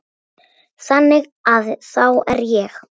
Þannig að þá er ég.